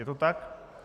Je to tak?